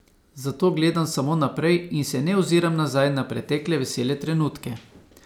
Zato gledam samo naprej in se ne oziram nazaj na pretekle vesele trenutke.